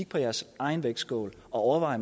på jeres egen vægtskål og overvejer